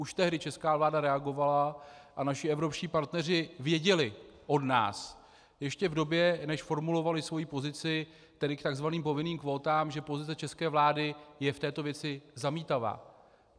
Už tehdy česká vláda reagovala a naši evropští partneři věděli od nás ještě v době, než formulovali svoji pozici, tedy k takzvaným povinným kvótám, že pozice české vlády je v této věci zamítavá.